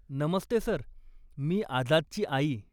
नमस्ते sir, मी आझादची आई.